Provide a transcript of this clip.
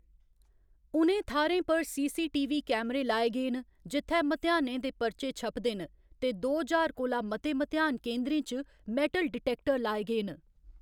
उ'नें थाह्‌रें पर सीसीटीवी कैमरे लाए गे न जित्थै म्तेहानें दे परचे छपदे न ते दो ज्हार कोला मते म्तेहान केंदरें च मैटल डिटैक्टर लाए गे न।